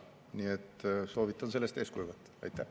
Nii et soovitan sellest eeskuju võtta.